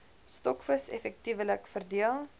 stokvis effektiewelik verdeel